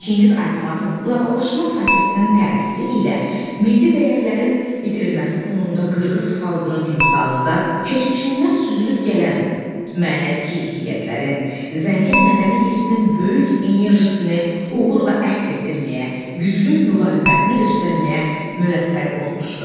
Çingiz Aytmatov qloballaşma prosesinin təsiri ilə milli dəyərlərin itirilməsi fonunda qırğız xalqının timsalında keçmişindən süzülüb gələn mənəvi keyfiyyətlərin, zəngin mədəni irsin böyük enerjisini uğurla əks etdirməyə, güclü müqavimətini göstərməyə müvəffəq olmuşdu.